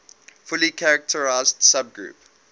fully characteristic subgroup